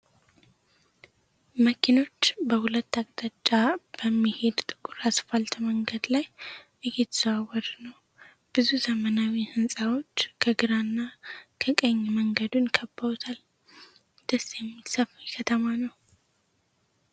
መኪኖች በሁለት አቅጣጫ በሚሄድ ጥቁር አስፋልት መንገድ ላይ እየተዘዋወሩ ነው። ብዙ ዘመናዊ ህንጻዎች ከግራና ከቀኝ መንገዱን ከበውታል። ደስ የሚል ሰፊ ከተማ ነው።